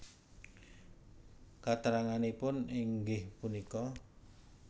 Katranganipun inggih punika